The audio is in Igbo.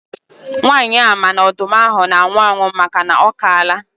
Nwanyị a ma na ọdụm ahụ na-anwụ anwụ makana ọkaala